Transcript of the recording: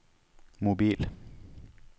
mobil